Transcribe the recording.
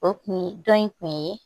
O kun ye dɔ in kun ye